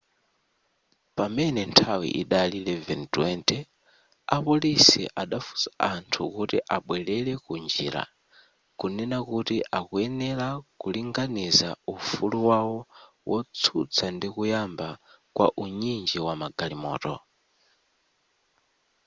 pamene nthawi idali 11:20 apolisi adafunsa anthu kuti abwerele ku njira kunena kuti akuyenera ku linganiza ufulu wawo wotsutsa ndi kuyamba kwa unyinji wa magalimoto